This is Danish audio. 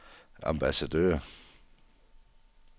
ambassadør